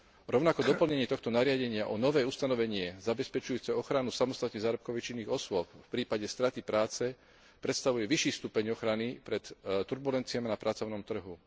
Rovnako doplnenie tohto nariadenia o nové ustanovenie zabezpečujúce ochranu samostatne zárobkovo činných osôb v prípade straty práce predstavuje vyšší stupeň ochrany pred turbulenciami na pracovnom trhu.